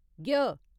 ञ